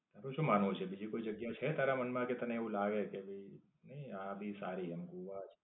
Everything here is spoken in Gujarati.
તારું શું માનવું છે? બીજી કોઈ જગ્યા છે તારા મન માં કે તને એવું લાગે કે ભાઈ નઈ આ ભી સારી એમ ગોવા છે?